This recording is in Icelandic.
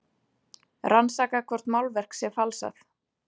Rannsaka hvort málverk sé falsað